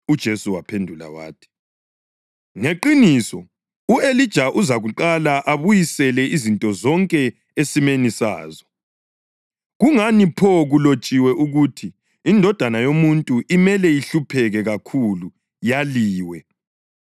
UJesu waphendula wathi, “Ngeqiniso u-Elija uza kuqala abuyisele izinto zonke esimeni sazo. Kungani pho kulotshiwe ukuthi iNdodana yoMuntu imele ihlupheke kakhulu yaliwe?